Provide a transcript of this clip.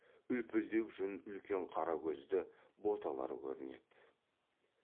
үлпілдек жүн үлкен қара көзді боталар көрінеді